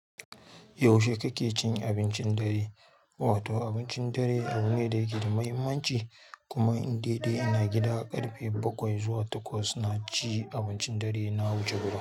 Yaushe kake cin abincin dare? Wato abincin dare abu ne da ya ke da muhimmanci kuma in dai ina gida, ƙarfe bakwai zuwa takwas na ci abincin dare na wuce wurin.